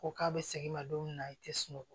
Ko k'a bɛ segin i ma don min na i tɛ sunɔgɔ